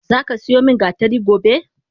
Zaka siyo min gatari gobe!